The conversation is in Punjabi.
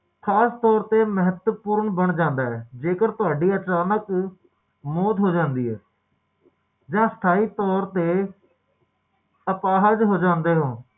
ਓਹਨੂੰ ਆਪਣੇ ਪੈਦਾ ਹੋਣ ਦੀ ਤਰੀਕ ਦਾ ਤਾ ਪਤਾ ਪਰ ਮਾਰਨ ਦੀ ਤਾਰੀਕ ਦਾ ਕਿਸੇ ਨੂੰ ਨਹੀਂ ਪਤਾ ਹੁੰਦਾ ਕਿਉਕਿ